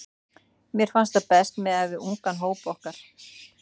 Mér finnst það best miðað við ungan hóp okkar.